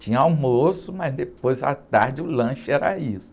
Tinha almoço, mas depois, à tarde, o lanche era isso.